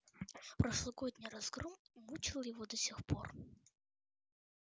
прошлогодний разгром мучил его до сих пор